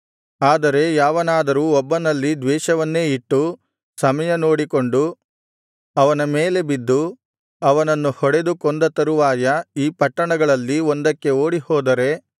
ಆದರೆ ಯಾವನಾದರೂ ಒಬ್ಬನಲ್ಲಿ ದ್ವೇಷವನ್ನೇ ಇಟ್ಟು ಸಮಯನೋಡಿಕೊಂಡು ಅವನ ಮೇಲೆ ಬಿದ್ದು ಅವನನ್ನು ಹೊಡೆದು ಕೊಂದ ತರುವಾಯ ಈ ಪಟ್ಟಣಗಳಲ್ಲಿ